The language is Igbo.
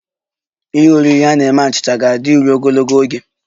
Ihe oriri a na-eme achịcha ga-adịru ogologo oge